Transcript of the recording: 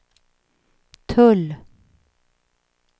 tull